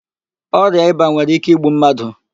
Ọrịa ịba nwere íké igbu mmadụ.